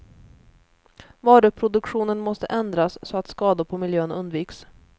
Varuproduktionen måste ändras, så att skador på miljön undviks.